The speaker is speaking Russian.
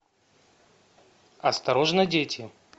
осторожно дети